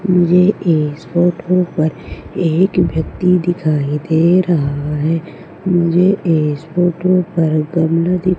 मुझे इस फोटो पर एक व्यक्ति दिखाई दे रहा है मुझे इस फोटो पर गमला दि--